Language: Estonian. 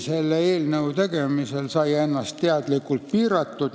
Selle eelnõu tegemisel sai teemat teadlikult piiratud.